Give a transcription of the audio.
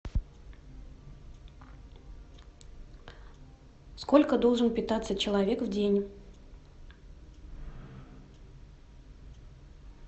сколько должен питаться человек в день